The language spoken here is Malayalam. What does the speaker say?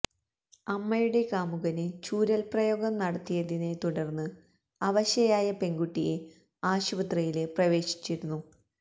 അമ്മയുടെ കാമുകന് ചൂരല് പ്രയോഗം നടത്തിയതിനെത്തുടര്ന്ന് അവശയായ പെണ്കുട്ടിയെ ആശുപത്രിയില് പ്രവേശിപ്പിച്ചിരുന്നു